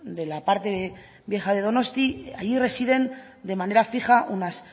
de la parte vieja de donosti allí residen de manera fija unas